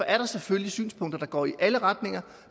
er selvfølgelig synspunkter der går i alle retninger